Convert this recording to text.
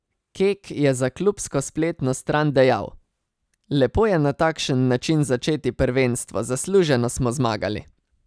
Kek je za klubsko spletno stran dejal: "Lepo je na takšen način začeti prvenstvo, zasluženo smo zmagali.